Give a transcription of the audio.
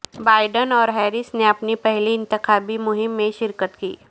Biden اور Harris نے اپنی پہلی انتخابی مہم میں شرکت کی